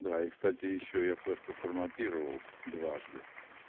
да и кстати ещё я флешку форматировал дважды